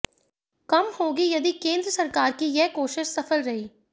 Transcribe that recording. कम होगी यदि केंद्र सरकार की ये कोशिश सफल रही